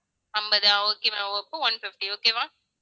அம்பதா okay ma'am அப்ப one fifty okay வா